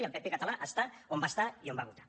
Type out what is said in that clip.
i el pp català està on va estar i on va votar